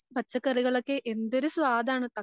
എന്തൊരു സ്വാദാണ്.